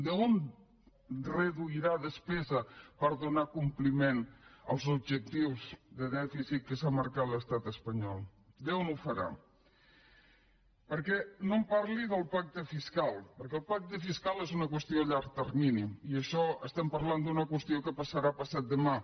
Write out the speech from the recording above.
d’on reduirà despesa per donar compliment als objectius de dèficit que s’ha marcat l’estat espanyol d’on ho farà perquè no em parli del pacte fiscal perquè el pacte fiscal és una qüestió a llarg termini i en això estem parlant d’una qüestió que passarà passat demà